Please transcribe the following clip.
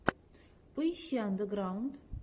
поищи андеграунд